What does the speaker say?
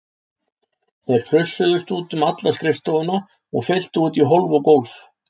Þeir frussuðust út um alla skrifstofuna og fylltu út í hólf og gólf.